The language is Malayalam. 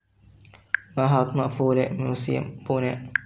മഹാത്മാ ഫൂലെ മ്യൂസിയം, പൂനെ